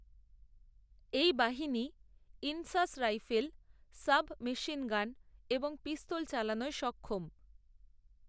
এই বাহিনী INSAS rifle, sub machine gun এবংপিস্তল চালানোয় সক্ষম